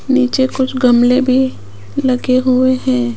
नीचे कुछ गमले भी लगे हुए हैं।